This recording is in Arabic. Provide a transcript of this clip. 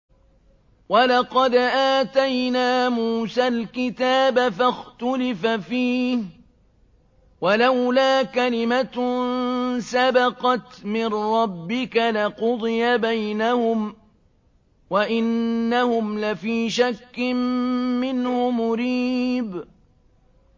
وَلَقَدْ آتَيْنَا مُوسَى الْكِتَابَ فَاخْتُلِفَ فِيهِ ۚ وَلَوْلَا كَلِمَةٌ سَبَقَتْ مِن رَّبِّكَ لَقُضِيَ بَيْنَهُمْ ۚ وَإِنَّهُمْ لَفِي شَكٍّ مِّنْهُ مُرِيبٍ